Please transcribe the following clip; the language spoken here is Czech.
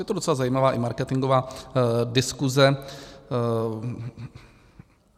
Je to docela zajímavá i marketingová diskuse.